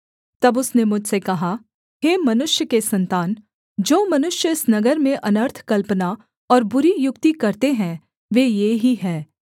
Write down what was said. तब उसने मुझसे कहा हे मनुष्य के सन्तान जो मनुष्य इस नगर में अनर्थ कल्पना और बुरी युक्ति करते हैं वे ये ही हैं